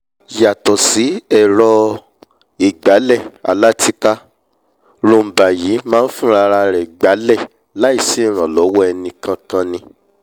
yàtọ̀ sí ẹ̀rọ-ìgbálẹ̀ alátìká roomba yìí máa nfúnrarẹ̀ gbálẹ̀ láì sí ìrànlọ́wọ́ enìkankan ni